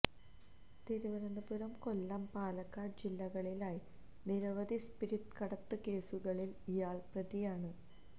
തിരുവനന്തപുരം കൊല്ലം പാലക്കാട് ജില്ലകളിലായി നിരവധി സ്പിരിറ്റ് കടത്ത് കേസുകളില് ഇയാള് പ്രതിയാണ്